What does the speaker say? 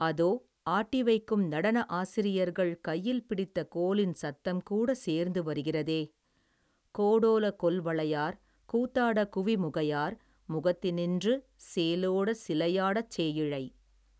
அதோ, ஆட்டிவைக்கும் நடன ஆசிரியர்கள் கையில் பிடித்த கோலின் சத்தம் கூடச் சேர்ந்து வருகிறதே, கோடோலக் கொல்வளையார், கூத்தாடக் குவிமுகையார், முகத்தினின்று, சேலோடச் சிலை யாடச் சேயிழை.